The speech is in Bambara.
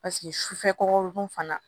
Paseke sufɛ kɔkɔdun fana